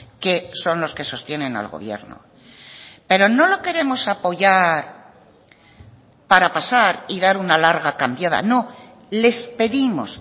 que son los que sostienen al gobierno pero no lo queremos apoyar para pasar y dar una larga cambiada no les pedimos